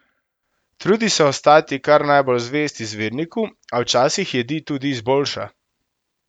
Trudi se ostati kar najbolj zvest izvirniku, a včasih jedi tudi izboljša.